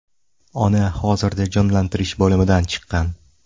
Ona hozirda jonlantirish bo‘limidan chiqqan.